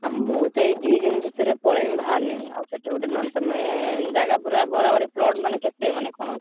ଆ ମୁଁ ତ ଏଇ ଦି ଦିନି ଭିତରେ ପଳେଇବି ବାହାରିଣି, ଆଉ ସେଠି ଗୋଟେ ନହେଲେ ତମେ ଜାଗା ପୁରା ବରାବରି plot ମାନେ କେତେ ମାନେ କଣ ଅଛି?